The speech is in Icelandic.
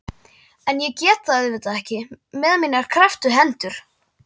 En ég get það auðvitað ekki með mínar krepptu hendur.